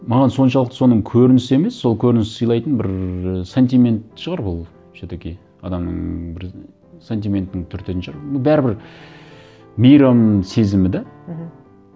маған соншалықты соның көрінісі емес сол көрініс сыйлайтын бір сантимент шығар ол все таки адамның бір сантиментің түртетін шығар ну бәрібір мейрам сезімі де мхм